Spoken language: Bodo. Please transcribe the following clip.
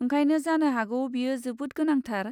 ओंखायनो जानो हागौ बेयो जोबोद गोनांथार?